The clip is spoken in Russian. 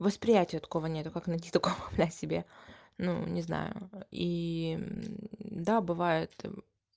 восприятие такого нет как найти такого блядь себе ну не знаю да бывает